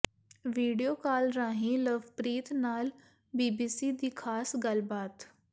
video call ਰਾਹੀਂ ਲਵਪ੍ਰੀਤ ਨਾਲ BBC ਦੀ ਖ਼ਾਸ ਗੱਲਬਾਤ